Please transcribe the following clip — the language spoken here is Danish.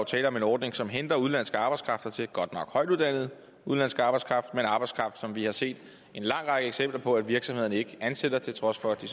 tale om en ordning som henter udenlandsk arbejdskraft og det er godt nok højtuddannet udenlandsk arbejdskraft men arbejdskraft som vi har set en lang række eksempler på at virksomhederne ikke ansætter til trods for at de